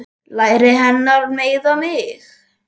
Læri hennar meiða mig.